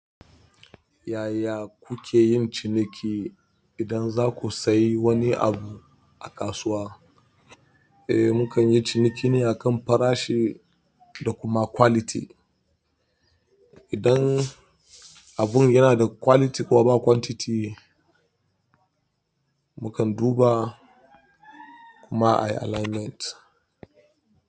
Yaya kuke yin ciniki idan za ku sayi wani abu a kasuwa? Eh, mukan yi ciniki ne akan farashi da kuma quality. Abun yana da quality kuma ba quantity, mukan duba kuma ayi alignment.